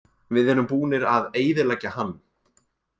Við erum búnir að eyðileggja hann.